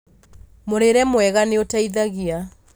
Mũrĩre mwega nĩũteithagia